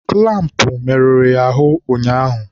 kụlampụ merụrụ ya ahụ ụnyaahụ.